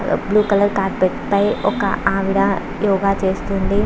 Blue colour carpet పై ఒక ఆవిడ యోగ చేస్తుంది.